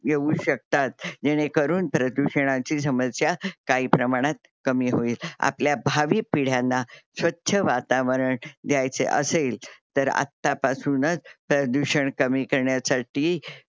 येऊ शकतात जेणे करून प्रदूषणाची समस्या काही प्रमाणात कमी होईल. आपल्या भावी पिढ्यांना स्वच्छ वातावरण द्यायचे असेल तर आत्ता पासूनच प्रदूषण कमी करण्यासाठी